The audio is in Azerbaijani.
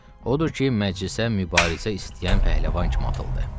Odur ki, məclisə mübarizə istəyən pəhləvan kimi atıldı.